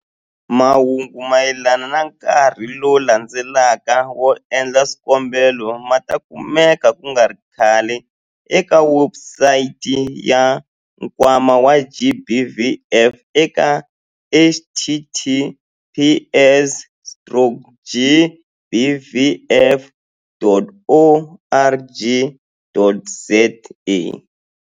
Mahungu mayelana na nkarhi lowu landzelaka wo endla swikombelo ma ta kumeka ku nga ri khale eka webusayiti ya Nkwama wa GBVF eka- https stroke gbvf.org.za.